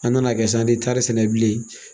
A nana kɛ sa an ti tari sɛnɛ bilen